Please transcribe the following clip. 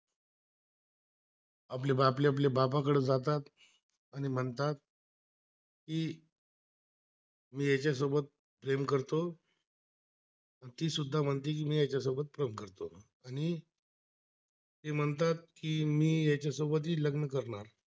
ती सुद्धा म्हणते की मी याचा सोबत love करतो, आणि तीम्हणतात की मी याचा सोबत ही लग्न करणार